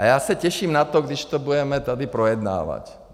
A já se těším na to, když to budeme tady projednávat.